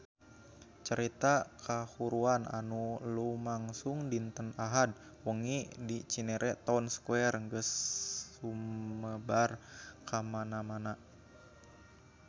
Carita kahuruan anu lumangsung dinten Ahad wengi di Cinere Town Square geus sumebar kamana-mana